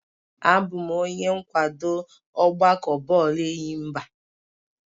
Abụ m onye nkwado ọgbakọ bọọlụ enyimba